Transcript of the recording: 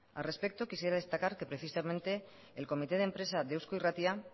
al respecto quisiera destacar que precisamente el comité de empresa de eusko irratia